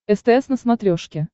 стс на смотрешке